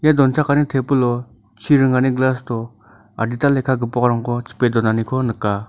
ia donchakani tebilo chi ringani glass-o adita lekka gipokrangko chipe donaniko nika.